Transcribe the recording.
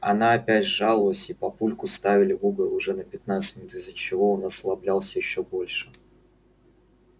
она опять жаловалась и папульку ставили в угол уже на пятнадцать минут из-за чего он озлоблялся ещё больше